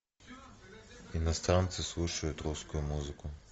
иностранцы слушают русскую музыку